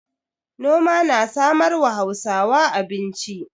Noma na samarwa Hausawa abinci.